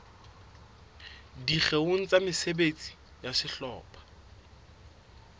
dikgeong tsa mesebetsi ya sehlopha